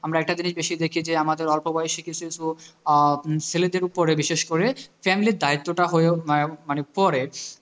আমরা একটা জিনিস বেশি দেখি যে আমাদের অল্প বয়সী কিছু কিছু আহ ছেলেদের ওপরে বিশেষ করে family র দায়িত্বটা হয়ে মা~ মানে পরে